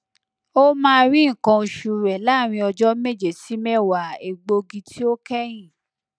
omaa ri nkan osu re laarin ọjọ meje si mewa egbogi ti o kẹhin